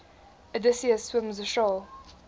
odysseus swims ashore